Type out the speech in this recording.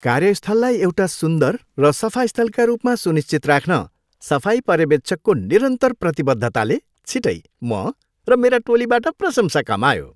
कार्यस्थललाई एउटा सुन्दर र सफा स्थलका रूपमा सुनिश्चित राख्न सफाई पर्यवेक्षकको निरन्तर प्रतिबद्धताले छिटै म र मेरा टोलीबाट प्रशंसा कमायो।